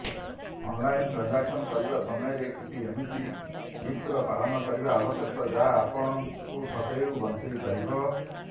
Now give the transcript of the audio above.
online transaction କରିବା ସମୟରେ କିଛି ଏମିତି ଟିପ୍ସର ପାଳନ କରିବା ଆବଶ୍ୟକ ଯାହା ଆପଣଙ୍କୁ ଠକେଇରୁ ବଞ୍ଚେଇପାରିବ